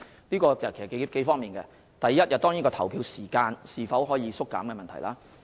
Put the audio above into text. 這涉及數方面的問題，第一，當然是投票時間可否縮減的問題。